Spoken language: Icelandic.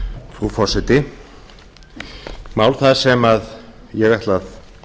frú forseti mál það sem ég ætla að